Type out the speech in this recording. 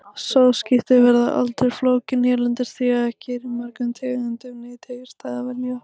Sáðskipti verða aldrei flókin hérlendis, því að ekki er úr mörgum tegundum nytjajurta að velja.